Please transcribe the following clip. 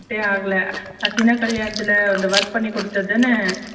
டே ஆகல ஹைசினா கல்யாணத்துல work பண்ணி குடுத்ததுதான ?